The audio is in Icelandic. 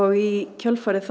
í kjölfarið